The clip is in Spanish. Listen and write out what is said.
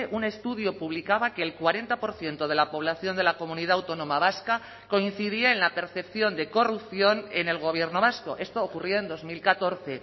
un estudio publicaba que el cuarenta por ciento de la población de la comunidad autónoma vasca coincidía en la percepción de corrupción en el gobierno vasco esto ocurrió en dos mil catorce